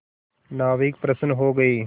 नाविक प्रसन्न हो गए